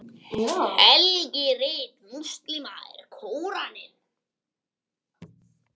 helgirit múslíma er kóraninn